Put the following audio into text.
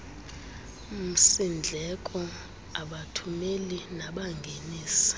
msindleko abathumeli nabangenisi